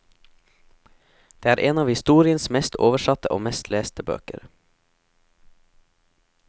Det er en av historiens mest oversatte og mest leste bøker.